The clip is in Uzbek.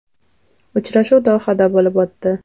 Uchrashuv Dohada bo‘lib o‘tdi.